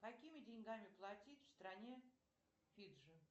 какими деньгами платить в стране фиджи